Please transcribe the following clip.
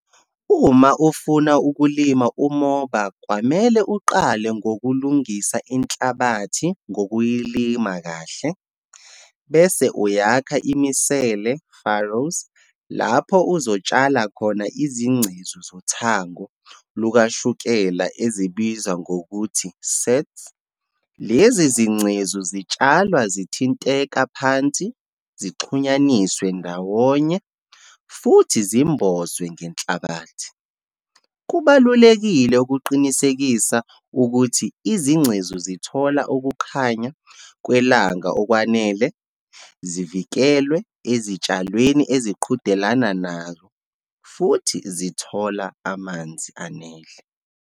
Uma ufuna ukulima umoba, kwamele uqale ngokulungisa inhlabathi ngokuyilima kahle, bese uyakha imisele, farrows, lapho uzotshala khona izingcezu zothango lukashukela ezibizwa ngokuthi, sets. Lezi zingcezu zitshalwa zithinteka phansi, zixhunyaniswe ndawonye, futhi zimbozwe ngenhlabathi. Kubalulekile ukuqinisekisa ukuthi izingcezu zithola ukukhanya kwelanga okwanele, zivikelwe ezitshalweni eziqhudelana nazo, futhi zithola amanzi anele.